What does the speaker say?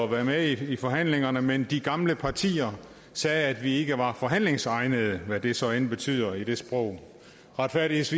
være med i forhandlingerne men de gamle partier sagde at vi ikke var forhandlingsegnede hvad det så end betyder i det sprog retfærdigvis